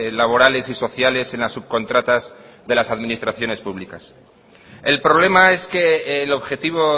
laborales y sociales en las subcontratas de las administraciones públicas el problema es que el objetivo